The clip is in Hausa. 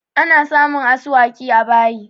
Ana samun asuwaki a bayi